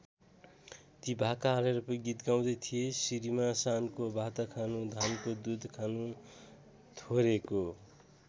ती भाका हालेर गीत गाउँदै थिए सिरिमा सानको भातखानु धानको दुध खानु थोरेको।